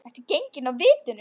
Ertu genginn af vitinu?